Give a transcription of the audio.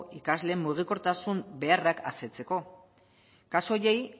ikasleen mugikortasun beharrak asetzeko kasu horiei